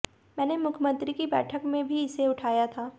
मैंने मुख्यमंत्री की बैठक में भी इसे उठाया था